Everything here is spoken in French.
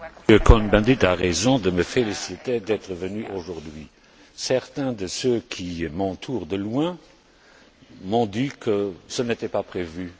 M. Cohn Bendit a raison de me féliciter d'être venu aujourd'hui. Certains de ceux qui m'entourent de loin m'ont dit que ce n'était pas prévu.